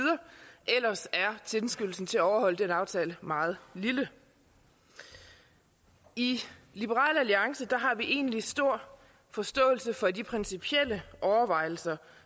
ellers er tilskyndelsen til at overholde den aftale meget lille i liberal alliance har vi egentlig stor forståelse for de principielle overvejelser